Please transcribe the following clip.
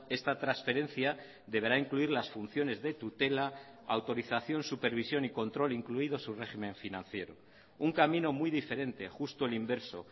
esta transferencia deberá incluir las funciones de tutela autorización supervisión y control incluido su régimen financiero un camino muy diferente justo el inverso